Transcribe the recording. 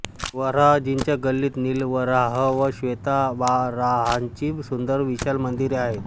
वराह जीच्या गल्लीत निलवराह व श्वेतवाराहाची सुंदर विशाल मंदिरे आहेत